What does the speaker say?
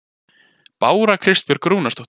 Bára Kristbjörg Rúnarsdóttir